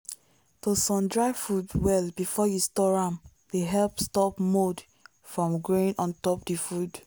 to sun-dry food well before you store am dey help stop mould from growing on top the food.